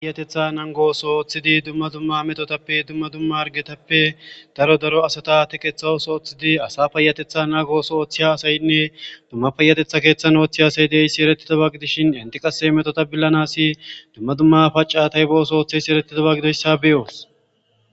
payatetha nangooso ooththidi dumma dumma metotappe dumma dumma argetappe daro daro asata teqethawos ooththidi asa payatetha naa gooso ooththiya asaynne dumma payatetha keeththan ooththi asay deysi erettido bagidishin inti qase metota billanasi dumma dumma pacatay booso ooththeysi erettita ba gidoyssa beyoos